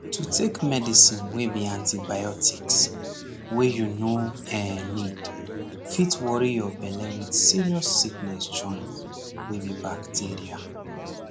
to take medicine wey be antibiotics wey you no eh need fit worry your belle with serious sickness join wey be bacteria